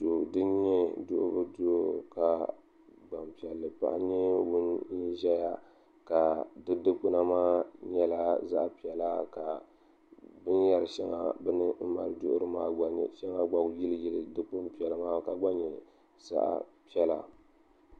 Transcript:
Duu din nyɛ duɣuli duu ka gbanpiɛlli paɣa nyɛ ŋun ʒɛya ka di dikpuna maa nyɛla zaɣ piɛla ka binyɛri shɛŋa biɛni bini mali duɣuri maa shɛŋa gba yiliyili dikpuni piɛla maa ka gba nyɛ zaɣ piɛla